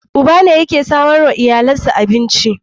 Uba ne yake samarwa iyalansa abinci.